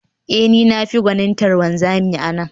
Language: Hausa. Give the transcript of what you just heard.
Ee, ni ne mafi gwanintar wanzami a nan